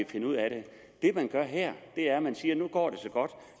finde ud af det det man gør her er at man siger nu går så godt